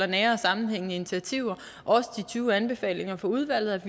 nære og sammenhængende initiativer også de tyve anbefalinger fra udvalget